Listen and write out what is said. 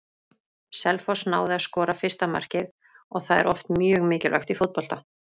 Selfoss náði að skora fyrsta markið og það er oft mjög mikilvægt í fótbolta.